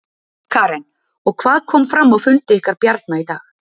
Karen: Og hvað kom fram á fundi ykkar Bjarna í dag?